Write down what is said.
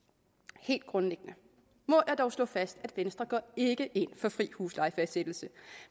helt grundlæggende må jeg dog slå fast at venstre ikke går ind for fri huslejefastsættelse